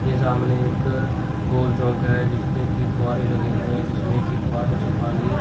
हे सामने एक गोल चौंक है जिस पे की फुहारें लगे हुए हैं जिसमें कि फुहारों से पानी--